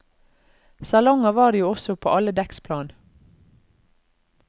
Salonger var det jo også på alle dekksplan.